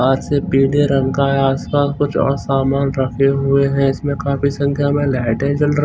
आज से पीले आस पास कुछ और सामान रखे हुए हैं इसमें काफी संख्या में लहटें जल र--